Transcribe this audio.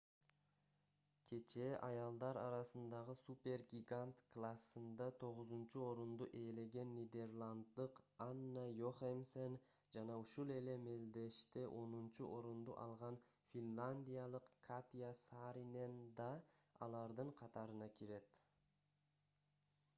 кечээ аялдар арасындагы супер-гигант классында 9-орунду ээлеген нидерланддык анна йохемсен жана ушул эле мелдеште онунчу орунду алган финляндиялык катя сааринен да алардын катарына кирет